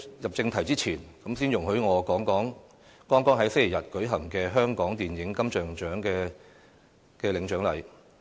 入正題前，先容許我談談剛於星期日舉行的香港電影金像獎頒獎典禮。